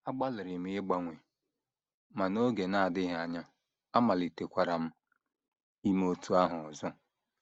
Agbalịrị m ịgbanwe, ma n’oge na - adịghị anya, amalitekwara m ime otú ahụ ọzọ. ”